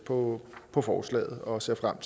på på forslaget og ser frem